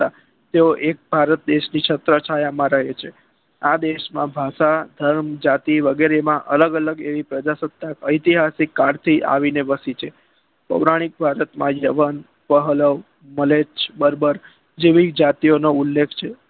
આ દેશ માં ભાષાધર્મ જાતિ વગેરે માં અલગ અલગ એવી પ્ર્જાક્સ્તાક ઐતિહાસિક કાર્તી આવીને વસી છે પૌરાણિક ભારતમાં બાહ્ય્વાન વહવ મલેચ બર્બર જેવી જાતી ઓનો ઉલ્લેખ છે